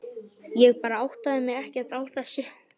Ég bara áttaði mig ekkert á þessu.